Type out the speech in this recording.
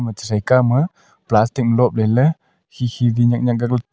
ama chethrai kama plastic lob leley khikhi ti nyaknyak ti--